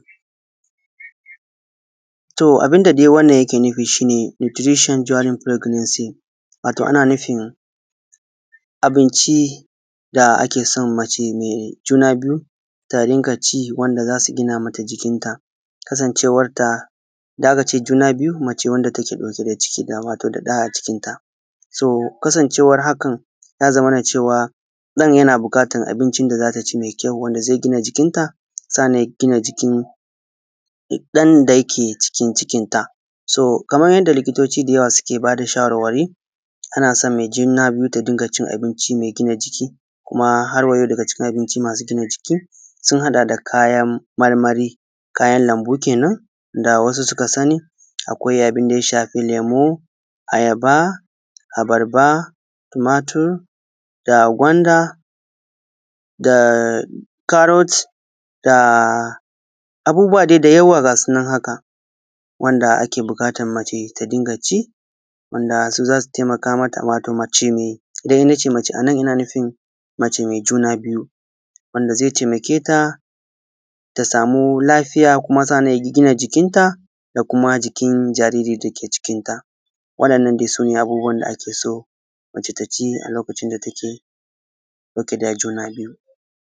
To, abun da dai wannan yake nufi shi ne Nuturishon Donin Firaginensi wato abunci wanda ake son mace mai juna biyu ta ci, wanda za su gina mata jikinta. Kasancewanta da aka ce juna biyu, mace wanda take ɗauke da cikin wato da ɗa a cikinta to, kasancewan haka, ya zamana cewa ɗan yana buƙatan abunci mai kyau, wanda zai gina jikinta, sa’annan ya gina jikin ɗan da yake cikin cikinta. So, kaman yadda liƙitoci da yawa suke ba da shawarwari, ana son mai juna biyu ta diga cin abunci mai gina jiki. Kuma har wayau, abuncin mai gina jiki sun haɗa da kayan marmari kayan lambu kenan da wasu suka sani. Akwa’i abun da ya shafi: Lemu da Ayaba da Abarba da Tumatur da Gwanda da Karot da wasu abubbuwa da yawa. Gasu nan, haka, wanda ake buƙatan mace ta dinga ji, wanda su za su tay mata. Wato mace, duk ina ce mace anan, ina nufin mace mai juna biyu, wanda zai tay mata ta samu lafiya, kuma sa’annan ya gina jikinta da kuma jikin jariri da ke cikinta. Wa’ðannan dai, su ne abun da ake son mace ta ci a lokacin da take da juna biyu.